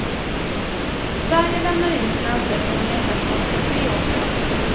Sverige lämnade in sin ansökan om medlemskap för tre år sedan.